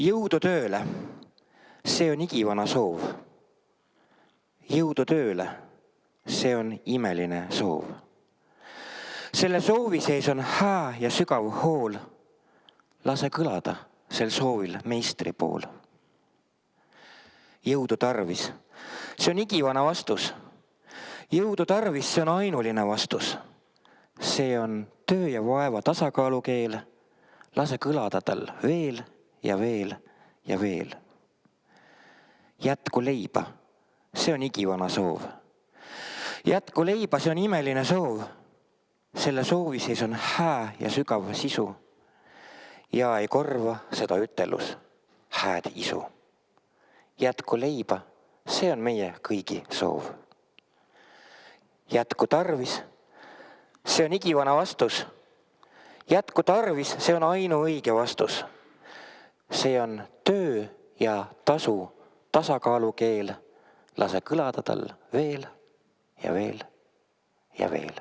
Jõudu tööle see on igivana soov Jõudu tööle see on imeline soov Selle soovi sees on hää ja sügav hool Lase kõlada sel soovil Meistri pool Jõudu tarvis see on igivana vastus Jõudu tarvis see on ainuline vastus See on töö ja vaeva tasakaalukeel Lase kõlada tal veel ja veel ja veel Jätku leiba see on igivana soov Jätku leiba see on imeline soov Selle soovi sees on hää ja sügav sisu Ja ei korva seda ütelus: hääd isu Jätku leiba see on meie kõigi soov Jätku tarvis see on igivana vastus Jätku tarvis see on ainuõige vastus See on töö ja tasu tasakaalukeel Lase kõlada tal veel ja veel ja veel.